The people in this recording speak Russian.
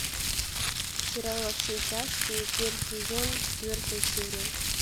сериал во все тяжкие первый сезон четвертая серия